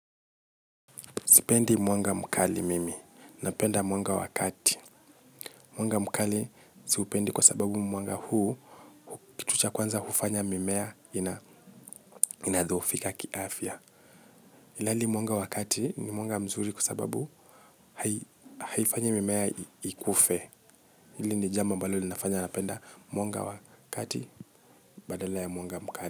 Sipendi mwanga mkali mimi, napenda mwanga wakati. Mwanga mkali siupendi kwa sababu mwanga huu kitu cha kwanza hufanya mimea inadhoofika kiafya ilhali mwanga wa kati ni mwanga mzuri kwa sababu haifanyi mimea ikufe. Hili ni njambo ambalo linafanya napenda mwanga wa kati badala ya mwanga mkali.